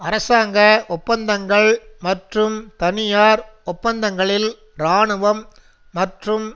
அரசாங்க ஒப்பந்தங்கள் மற்றும் தனியார் ஒப்பந்தங்களில் இராணுவம் மற்றும்